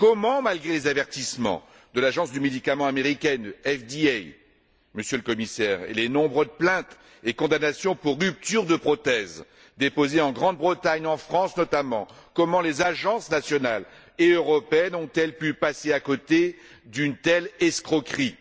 Comment, malgré les avertissements de l'Agence du médicament américaine FDA, Monsieur le Commissaire, et les nombreuses plaintes et condamnations pour rupture de prothèses déposées en Grande Bretagne et en France notamment, comment les agences nationales et européennes ont elles pu passer à côté d'une telle escroquerie?